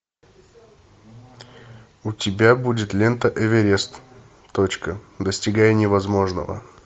у тебя будет лента эверест точка достигая невозможного